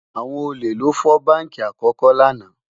àwọn ólè ló fọ bánkì àkókò lànà